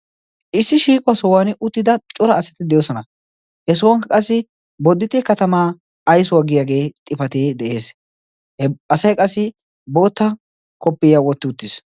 issi shiiquwaa sohuwan uttida cora asati de7osona. he sohuwankka qassi bodite katamaa aisuwaggiyaagee xifatee de7ees. he asai qassi bootta koppiya wotti uttiis.